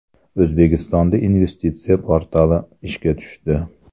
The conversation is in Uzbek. O‘zbekistonda investitsiya portali ishga tushdi.